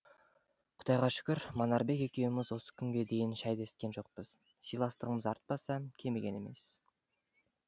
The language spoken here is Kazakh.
құдайға шүкір манарбек екеуміз осы күнге дейін шәй дескен жоқпыз сыйластығымыз артпаса кеміген емес